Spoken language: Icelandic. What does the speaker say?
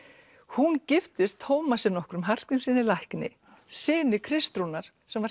hún giftist Tómasi nokkrum Hallgrímssyni lækni syni Kristrúnar sem var